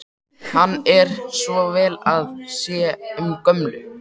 Hann er svo vel að sér um gömlu